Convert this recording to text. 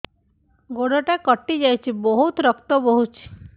ଗୋଡ଼ଟା କଟି ଯାଇଛି ବହୁତ ରକ୍ତ ବହୁଛି